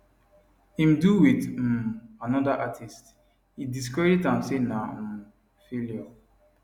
im do wit um anoda artiste e discredit am say na um failure